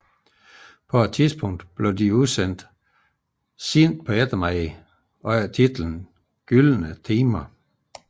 På et tidspunkt blev disse udsendt sent på eftermiddagen under titlen Gyldne timer